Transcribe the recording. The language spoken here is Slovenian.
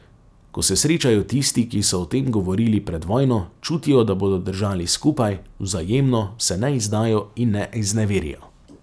Ko se srečajo tisti, ki so o tem govorili pred vojno, čutijo, da bodo držali skupaj, vzajemno se ne izdajo in ne izneverijo.